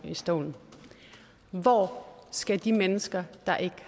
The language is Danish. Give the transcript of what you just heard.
stolen hvor skal de mennesker der ikke